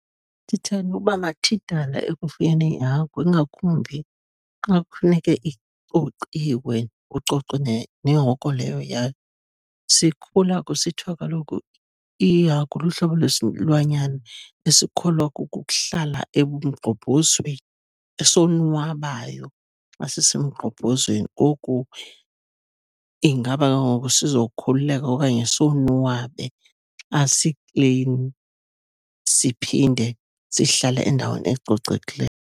Ndithanda ukuba mathidala ekufuyeni iihagu, ingakumbi xa kufuneka icociwe, kucocwe nehoko leyo yayo. Sikhula kusithiwa kaloku, ihagu lihlobo lwesilwanyana esikholwa kuhlala ebumgxobhozweni, esonwabayo xa sisemgxobhozweni. Ngoku ingaba ke ngoku sizokhululeka okanye sonwabe xa siklini, siphinde sihlale endaweni ecocekileyo?